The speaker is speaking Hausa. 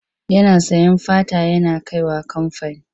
Yana sayen fata yana kai wa kamfani.